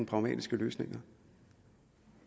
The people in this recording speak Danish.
pragmatiske løsninger